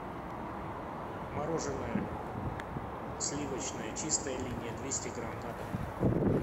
мороженое сливочное чистая линия двести грамм на дом